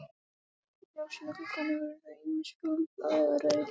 Ljósin í gluggunum voru ýmist fjólublá eða rauð.